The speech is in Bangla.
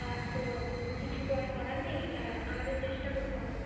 আহ তো কিছু তো আর করার নেই আহ আমাদের চেষ্টা করতে হবে